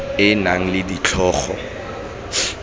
e e nang le ditlhogo